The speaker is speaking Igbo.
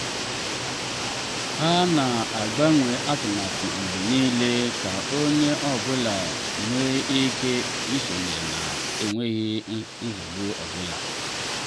ha na agbanwe atụmatụ mgbe niile ka onye ọ bụla nwee ike isonyere na enweghị nrụgide ego.